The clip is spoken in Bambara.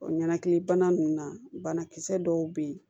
O ɲanakilibana nunnu na banakisɛ dɔw be yen